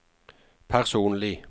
personlig